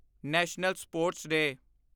national sports day